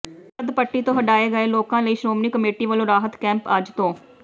ਸਰਹੱਦੀ ਪੱਟੀ ਤੋਂ ਹਟਾਏ ਗਏ ਲੋਕਾਂ ਲਈ ਸ਼੍ਰੋਮਣੀ ਕਮੇਟੀ ਵਲੋਂ ਰਾਹਤ ਕੈਂਪ ਅੱਜ ਤੋਂ